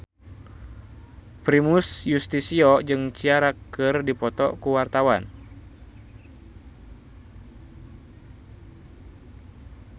Primus Yustisio jeung Ciara keur dipoto ku wartawan